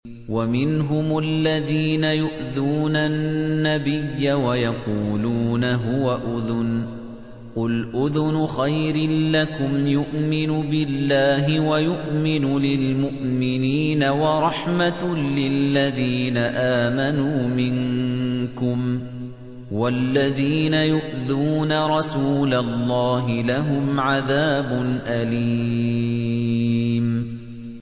وَمِنْهُمُ الَّذِينَ يُؤْذُونَ النَّبِيَّ وَيَقُولُونَ هُوَ أُذُنٌ ۚ قُلْ أُذُنُ خَيْرٍ لَّكُمْ يُؤْمِنُ بِاللَّهِ وَيُؤْمِنُ لِلْمُؤْمِنِينَ وَرَحْمَةٌ لِّلَّذِينَ آمَنُوا مِنكُمْ ۚ وَالَّذِينَ يُؤْذُونَ رَسُولَ اللَّهِ لَهُمْ عَذَابٌ أَلِيمٌ